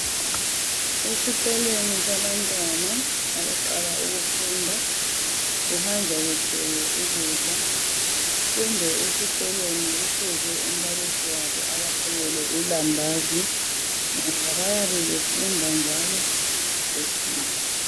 Esikolweni sabantwana abaqala ukufunda kuhanjwa kuthwele ukudla kumbe esikolweni kufuze umbalisi wabo abaphekele ilambazi ngoba bayabe befunda njalo besidla